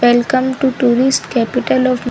welcome to tourist capital of --